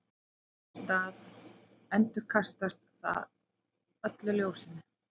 þess í stað endurkastar það öllu ljósinu